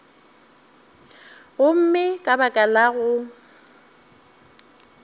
gomme ka baka la go